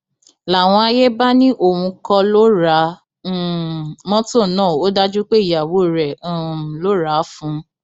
làwọn àyè bá ní òun kọ ló ra um mọtò náà ó dájú pé ìyàwó rẹ um ló rà á fún un